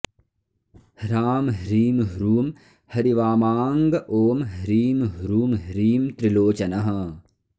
ह्रां ह्रीं ह्रूं हरिवामाङ्ग ॐ ह्रीं ह्रूं ह्रीं त्रिलोचनः